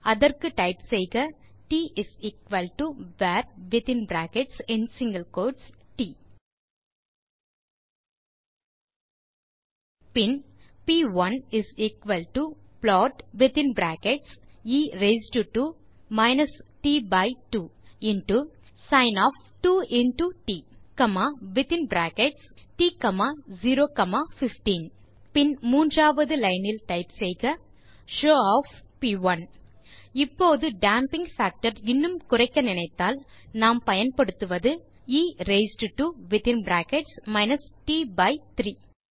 அதற்கு டைப் செய்க tvarட் பின் p1plotஎ ரெய்ஸ்ட் டோ sinட்015 பின் மூன்றாவது லைன் டைப் செய்க ஷோவ் இப்போது டேம்பிங் பாக்டர் இன்னும் குறைக்க நினைத்தால் நாம் பயன்படுத்துவது எ ரெய்ஸ்ட் டோ